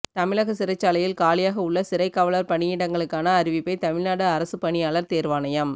தமிழக சிறைச்சாலையில் காலியாக உள்ள சிறைக் காவலர் பணியிடங்களுக்கான அறிவிப்பை தமிழ்நாடு அரசுப் பணியாளர் தேர்வாணையம்